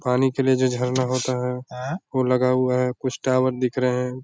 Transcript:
पानी के लिए जो झरना होता है ए वो लगा हुआ है कुछ टावर दिख रहे हैं।